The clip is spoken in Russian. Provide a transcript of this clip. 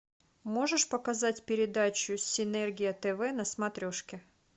можешь показать передачу синергия тв на смотрешке